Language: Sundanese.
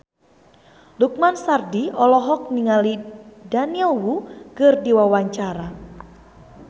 Lukman Sardi olohok ningali Daniel Wu keur diwawancara